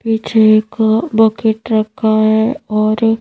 पीछे एक बकेट रखा है और--